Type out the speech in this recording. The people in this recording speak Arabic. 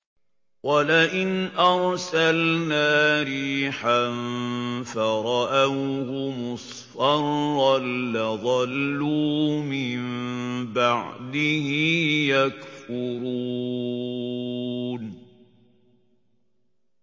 وَلَئِنْ أَرْسَلْنَا رِيحًا فَرَأَوْهُ مُصْفَرًّا لَّظَلُّوا مِن بَعْدِهِ يَكْفُرُونَ